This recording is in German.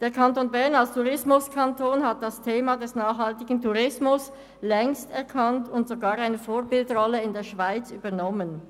Der Kanton Bern als Tourismuskanton hat das Thema des nachhaltigen Tourismus längst erkannt und sogar eine Vorbildrolle in der Schweiz übernommen.